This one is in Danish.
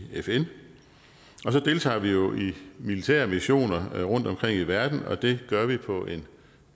fn og så deltager vi jo i militære missioner rundtomkring i verden og det gør vi på en